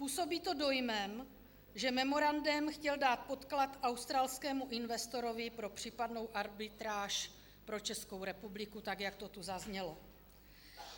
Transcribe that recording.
Působí to dojmem, že memorandem chtěl dát podklad australskému investorovi pro případnou arbitráž pro Českou republiku, tak jak to tu zaznělo.